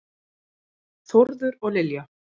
Þórður og Lilja.